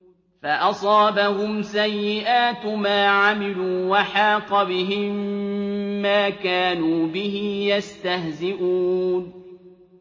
فَأَصَابَهُمْ سَيِّئَاتُ مَا عَمِلُوا وَحَاقَ بِهِم مَّا كَانُوا بِهِ يَسْتَهْزِئُونَ